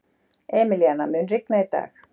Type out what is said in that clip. Emilíana, mun rigna í dag?